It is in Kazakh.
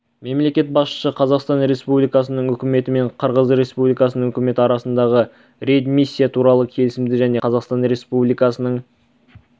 мемлекет басшысы қазақстан республикасының үкіметі мен қырғыз республикасының үкіметі арасындағы реадмиссия туралы келісімді және қазақстан республикасының